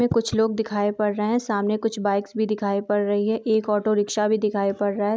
कुछ लोग दिखई पड़ रहे है सामने कुछ बाइक्स भी दिखाई पड़ रही है एक ओटो रिक्सा भी दिखाई पड़ रहे हैं।